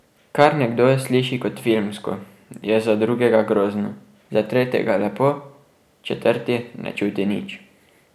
Kar nekdo sliši kot filmsko, je za drugega grozno, za tretjega lepo, četrti ne čuti nič ...